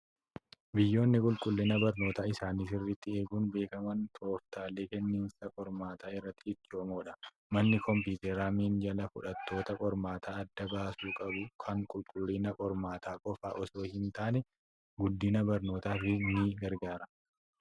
Biyyoonni qulqullina barnootaa isaanii sirriitti eeguun beekaman tooftaalee kenniinsa qormaataa irratti ciccimimoodha. Manni kompiitaraa minjaala fufhattoota qormaataa adda baasu qabu kun qulqullina qormaataa qofaa osoo hin taane, guddina barnootaafis ni gargaara.